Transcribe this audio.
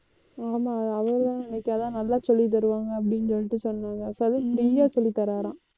ஆமா அவருதான் நேத்து அதான் நல்லா சொல்லித் தருவாங்க அப்படின்னு சொல்லிட்டு சொன்னாங்க free யா சொல்லித்தராராம்